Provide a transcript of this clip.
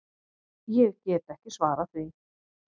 Ég get ekki svarað því.